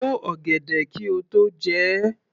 Bo ọ̀gẹ̀dẹ̀ kí o tó jẹ ẹ́!